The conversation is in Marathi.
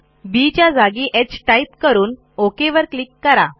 बी च्या जागी ह टाईप करून ओक वर क्लिक करा